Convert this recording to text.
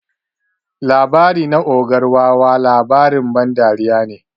Labari na ogar wawa labarin ban dariya ne.